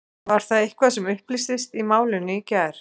Var það eitthvað sem upplýstist í málinu í gær?